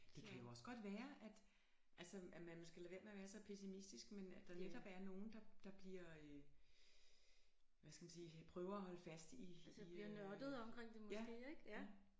Det kan jo også godt være at altså at man skal lade være med at være så pessimistisk men at der netop er nogen der der bliver hvad skal man sige prøver at holde fast i i øh ja